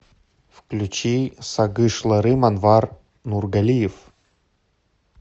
включи сагышларым анвар нургалиев